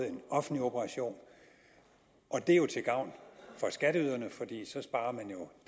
en offentlig operation og det er jo til gavn for skatteyderne for så sparer man jo